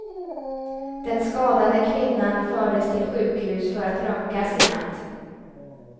Den skadade kvinnan fördes till sjukhus för att röntgas i natt.